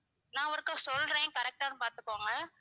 நான் ஒருக்கா சொல்றேன் correct ஆன்னு பார்த்துகோங்க